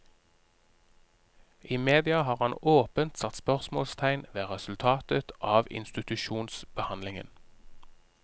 I media har han åpent satt spørsmålstegn ved resultatet av institusjonsbehandlingen.